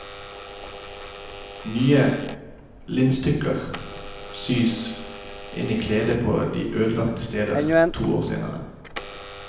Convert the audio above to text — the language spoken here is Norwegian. Nye linstykker sys inn i kledet på de ødelagte stedene to år senere.